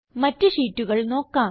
മറ്റ് ഷീറ്റുകൾ നോക്കാം